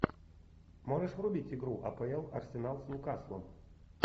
можешь врубить игру апл арсенал с ньюкаслом